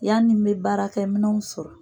Yanni n bɛ baarakɛ minɛnw sɔrɔ.